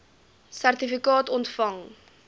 sertifikaat ontvang